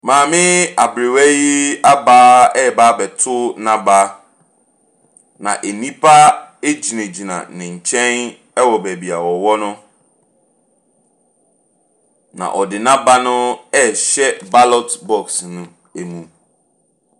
Maame aberewa hi aba reba abɛto n'aba. Na nnipa gyinagyina ne nkyɛn wɔ baabi a ɔwɔ no. Na ɔde n'aba no rehyɛ ballot box no mu.